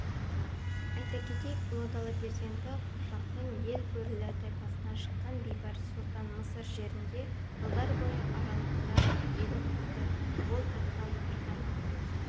айта кетейік ұлы дала перзенті қыпшақтың ел бөрілі тайпасынан шыққан бейбарыс сұлтан мысыр жерінде жылдар аралығында билік құрды ол тақта отырған